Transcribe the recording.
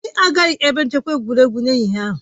Anyị agaghị ebe nchekwa egwuregwu n'ehihie ahụ